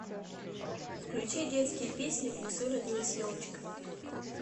включи детские песни в лесу родилась елочка